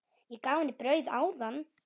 Ég gaf henni brauð áðan.